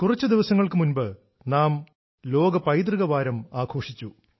കുറച്ച് ദിവസങ്ങൾക്ക് മുമ്പ് നാം ലോക പൈതൃക വാരം ആഘോഷിച്ചു